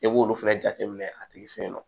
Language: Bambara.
E b'olu fɛnɛ jateminɛ a tigi fɛ yen nɔ